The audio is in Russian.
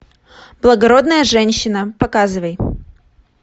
благородная женщина показывай